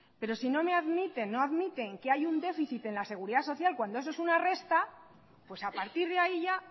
pero si no admiten que hay un déficit en la seguridad social cuando eso es una resta pues a partir de ahí ya